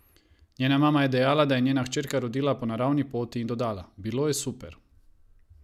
Njena mama je dejala, da je njena hčerka rodila po naravni poti in dodala: "Bilo je super.